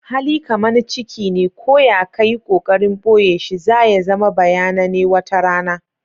Hali kaman ciki ne, ko ya ka yi kokarin boye shi, za ya zama bayanane wata rana.